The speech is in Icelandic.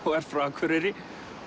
og er frá Akureyri